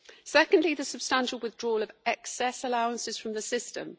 Secondly, there is the substantial withdrawal of excess allowances from the system.